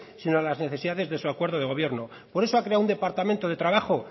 sino a las necesidades de su acuerdo de gobierno por eso ha creado un departamento de trabajo